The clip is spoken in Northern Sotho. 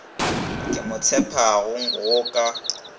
ke mo tshepago go ka